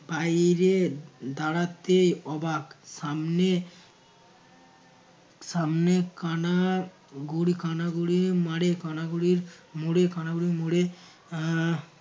বাইরে দাঁড়াতে অবাক সামনে সামনে কানা গোড়ে কানা গোড়ে মারে কানা গোড়ের মোড়ে কানা গোড়ের মোড়ে এর